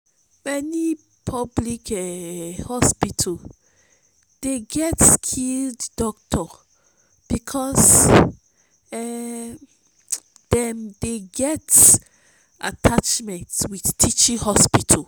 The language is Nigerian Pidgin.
many public um hospitals dey get skilled doctor because um dem dey get atttachment with teaching hospital